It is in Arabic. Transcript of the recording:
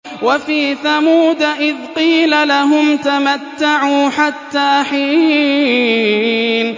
وَفِي ثَمُودَ إِذْ قِيلَ لَهُمْ تَمَتَّعُوا حَتَّىٰ حِينٍ